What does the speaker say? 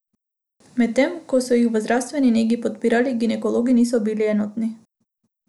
Medtem ko so jih v zdravstveni negi podpirali, ginekologi niso bili enotni.